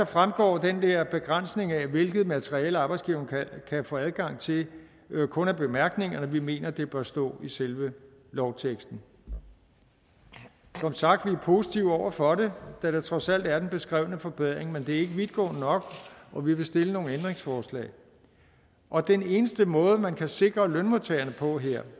fremgår den der begrænsning af hvilket materiale arbejdsgiveren kan få adgang til kun af bemærkningerne vi mener det bør stå i selve lovteksten som sagt er vi positive over for det da der trods alt er den beskrevne forbedring men det er ikke vidtgående nok og vi vil stille nogle ændringsforslag og den eneste måde man kan sikre lønmodtageren på her